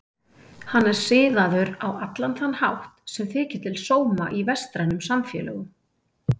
Hann er siðaður á allan þann hátt sem þykir til sóma í vestrænum samfélögum.